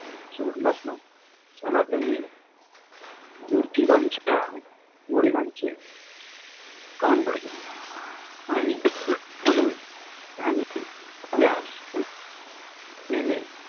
सोडलाच नाही. सनातनी ज्योतीबांच्या वडिलांचे कान भरले. आणि म्हाणून त्यांनी आपल्या सुसुनेने